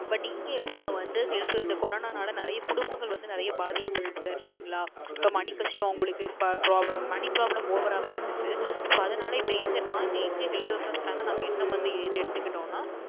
But இங்க எப்படின வந்து இந்த HealthCorona நாள நிறைய குடும்பங்கள் நிறைய பாதிக்கப்பட்டுச்சு சரிங்களா அப்போ Money கஷ்டம் உங்களுக்கு அப்போ Problem Money ProblemOver வே இருந்துச்சு So அதனால் இப்போ இங்கே நாங்க இங்க Health Insurance Plan என்ன வந்து ஏது எடுத்துஇட்டோம் ன